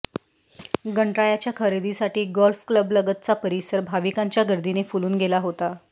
गणरायाच्या खरेदीसाठी गोल्फ क्लबलगतचा परिसर भाविकांच्या गर्दीने फुलून गेला होता